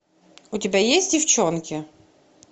у тебя есть девчонки